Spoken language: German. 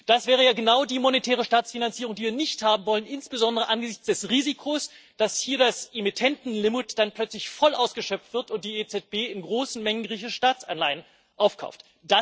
Das wäre ja genau die monetäre Staatsfinanzierung, die wir nicht haben wollen, insbesondere angesichts des Risikos, dass hier das Emittentenlimit dann plötzlich voll ausgeschöpft wird und die EZB in großen Mengen griechische Staatsanleihen aufkauft.